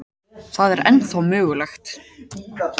Það er ennþá mögulegt.